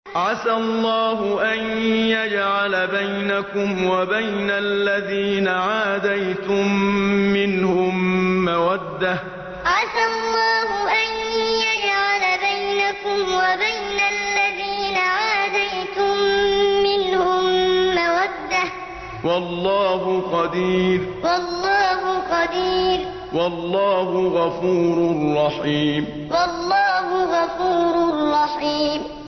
۞ عَسَى اللَّهُ أَن يَجْعَلَ بَيْنَكُمْ وَبَيْنَ الَّذِينَ عَادَيْتُم مِّنْهُم مَّوَدَّةً ۚ وَاللَّهُ قَدِيرٌ ۚ وَاللَّهُ غَفُورٌ رَّحِيمٌ ۞ عَسَى اللَّهُ أَن يَجْعَلَ بَيْنَكُمْ وَبَيْنَ الَّذِينَ عَادَيْتُم مِّنْهُم مَّوَدَّةً ۚ وَاللَّهُ قَدِيرٌ ۚ وَاللَّهُ غَفُورٌ رَّحِيمٌ